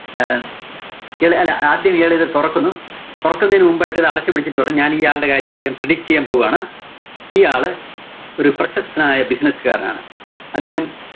ആഹ് ഇല്ല, ഇല്ല ആദ്യം ഇയാള് ഇത് തൊറക്കുന്നു. തൊറക്കുന്നേന് മുൻപായിട്ട് അത് അടച്ചു പിടിച്ചിട്ട് പറഞ്ഞു, ഞാന്‍ ഈ ആള്‍ടെ കാര്യം ആദ്യം predict ചെയ്യാന്‍ പോവാണ്. ഈ ആള്, പ്രശസ്തനായ ഒരു business കാരനാണ്. അദ്ദേഹം